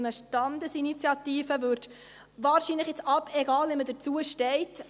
Eine Standesinitiative würde wahrscheinlich, egal, wie man dazu steht …